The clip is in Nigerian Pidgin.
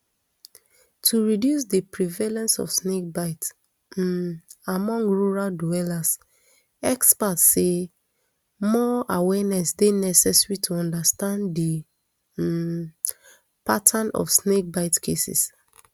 to reduce di prevalence of snakebite um among rural dwellers expert say more awareness dey necessary to understand di um pattern of snakebite cases